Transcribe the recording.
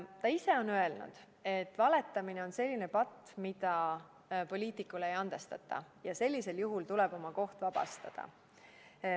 Ta ise on öelnud, et valetamine on selline patt, mida poliitikule ei andestata, ja sellisel juhul tuleb oma koht vabastada.